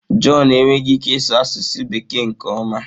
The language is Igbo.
John enweghị ike ịsụ asụsụ Bekee nke ọma.